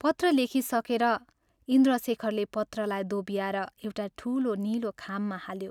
पत्र लेखिसकेर, इन्द्रशेखरले पत्रलाई दोब्याएर एउटा ठूलो नीलो खाममा हाल्यो।